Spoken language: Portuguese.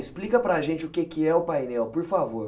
Explica para gente o que é o painel, por favor.